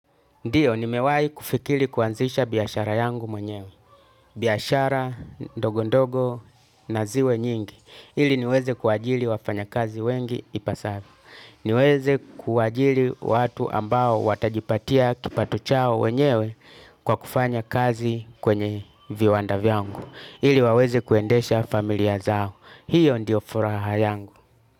Ndio, nimewahi kufikiri kuanzisha biashara yangu mwenyewe. Biashara, ndogo ndogo na ziwe nyingi. Ili niweze kuajiri wafanyakazi wengi ipasavyo. Niweze kuajiri watu ambao watajipatia kipato chao wenyewe, kwa kufanya kazi kwenye viwanda vyangu. Ili waweze kuendesha familia zao. Hiyo ndio furaha yangu.